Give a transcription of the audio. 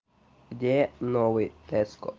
где новый теско